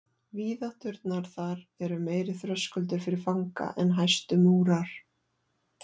Víðátturnar þar eru meiri þröskuldur fyrir fanga en hæstu múrar.